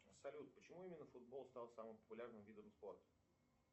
салют почему именно футбол стал самым популярным видом спорта